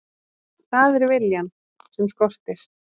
Það er viljann sem skortir.